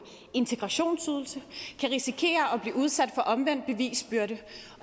integrationsydelse kan risikere at blive udsat for omvendt bevisbyrde